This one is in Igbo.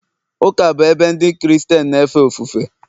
ụka bụ ebe Ndị Kristien na-efe ofufe..